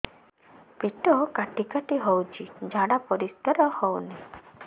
ପେଟ କାଟି କାଟି ହଉଚି ଝାଡା ପରିସ୍କାର ହଉନି